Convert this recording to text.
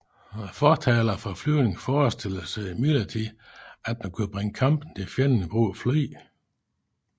Fortalere for flyvning forestillede sig imidlertid at man kunne bringe kampen til fjenden ved brug af fly